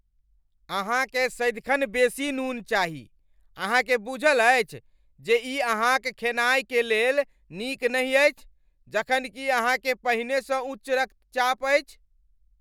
अहाँकेँ सदिखन बेसी नून चाही! अहाँ के बूझल अछि जे ई अहाँक खेनाइ क लेल नीक नहि अछि जखन कि अहाँकेँ पहिनेसँ उच्च रक्तचाप अछि।